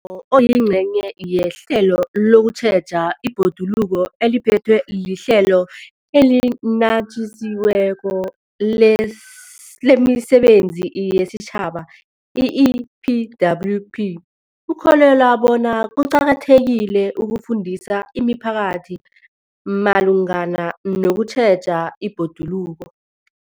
UNyawo, oyingcenye yehlelo lokutjheja ibhoduluko eliphethwe liHlelo eliNatjisi weko lemiSebenzi yesiTjhaba, i-EPWP, ukholelwa bona kuqakathekile ukufundisa imiphakathi malungana nokutjheja ibhoduluko.